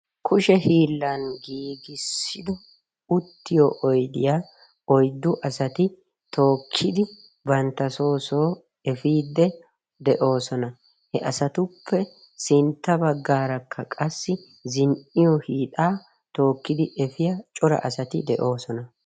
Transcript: Kushe hiilan gigisido uttiyo oyddiya oyddu asati tookidi bantta so so efidi deosona. He asatuppe sintta baggaarakka qassi zin'iyo hiixa tokkidi efiyaa cora asati deosona.